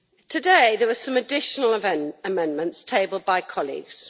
Today, there are some additional amendments tabled by colleagues.